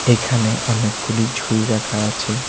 এখানে অনেকগুলি ঝুড়ি রাখা আছে।